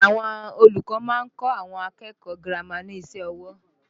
Àwọn olùkọ́ máa ń kọ́ àwọn akẹ́kọ̀ọ́ girama ní iṣẹ́ ọwọ́